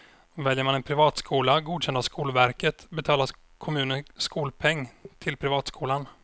Väljer man en privatskola godkänd av skolverket betalar kommunen skolpeng till privatskolan.